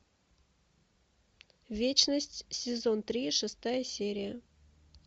вечность сезон три шестая серия